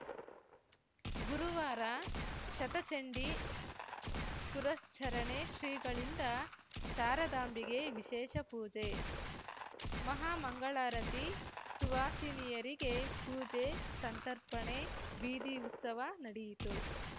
ಗುರುವಾರ ಶತಚಂಡೀ ಪುರಶ್ಚರಣೆ ಶ್ರೀಗಳಿಂದ ಶಾರದಾಂಬೆಗೆ ವಿಶೇಷ ಪೂಜೆ ಮಹಾಮಂಗಳಾರತಿ ಸುವಾಸಿನಿಯರಿಗೆ ಪೂಜೆ ಸಂತರ್ಪಣೆ ಬೀದಿ ಉತ್ಸವ ನಡಿಯಿತು